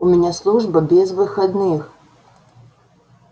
у меня служба без выходных